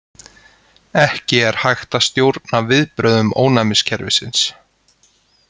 Ekki er hægt að stjórna viðbrögðum ónæmiskerfisins.